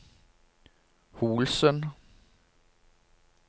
Holsen